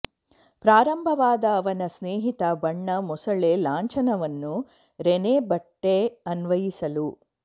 ಪ್ರಾರಂಭವಾದ ಅವನ ಸ್ನೇಹಿತ ಬಣ್ಣ ಮೊಸಳೆ ಲಾಂಛನವನ್ನು ರೆನೆ ಬಟ್ಟೆ ಅನ್ವಯಿಸಲು